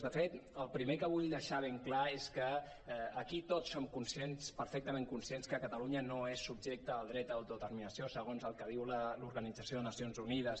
de fet el primer que vull deixar ben clar és que aquí tots som conscients perfectament conscients que catalunya no és subjecte del dret a autodeterminació segons el que diu l’organització de nacions unides